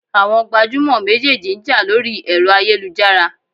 Àwọn gbajúmọ̀ méjèèjì ń jà lórí ẹ̀rọ ayélujára.